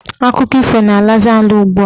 Akụkọ ifo na-alazi ala ugbua.